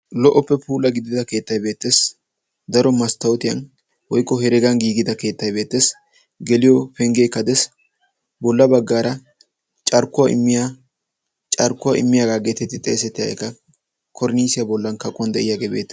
Lo"oppe puula gidida keettay beettes. Daroppe masttootiyan woykko heregan giigida keettaykka beettes. Geliyoo penggeekka de'ees. Bolla baggaara "carkkuwaa immiyaa carkkuwaa immiyaagaa" geetetti xeesettiyaageekka kornnisiyaa bollan kaquwan de"iyaagee beettees.